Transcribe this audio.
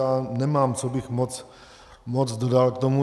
Já nemám, co bych moc dodal k tomu.